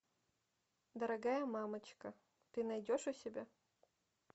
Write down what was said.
дорогая мамочка ты найдешь у себя